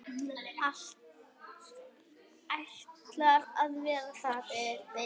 Ætlar að vera þar.